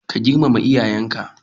Ka girmama iyayenka.